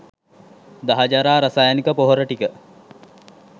දහජරා රසායනික පොහොර ටික